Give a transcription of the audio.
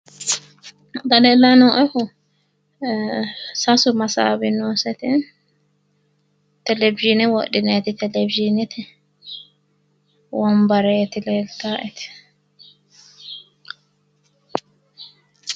xaa leelanni nooehu sasu masaawi nooseti televizhiine wodhinayite televizhiine wombareeti leeltaeti.